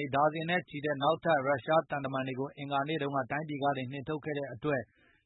နေ ဒါဇင်နဲ့ချီရှိကြတဲ့ နောက်ထပ် ရုရှားသံတမန်တွေကို အင်္ဂါ နေ့က တိုင်းပြည်ကနေနှင်ထုတ်ခဲ့တဲ့အတွက်